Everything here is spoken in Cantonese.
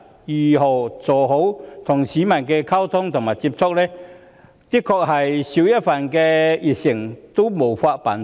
要做好與市民溝通及接觸的工作，確是少一分熱誠也無法辦到。